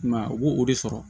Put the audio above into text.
I m'a ye u b'o o de sɔrɔ